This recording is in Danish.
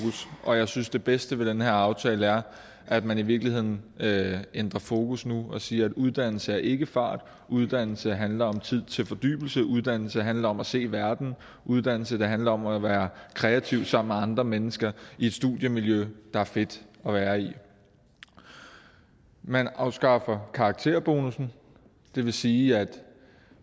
og jeg synes at det bedste ved den her aftale er at man i virkeligheden ændrer fokus nu og siger at uddannelse er ikke fart uddannelse handler om tid til fordybelse uddannelse handler om at se verden uddannelse handler om at være kreativ sammen med andre mennesker i et studiemiljø der er fedt at være i man afskaffer karakterbonussen det vil sige at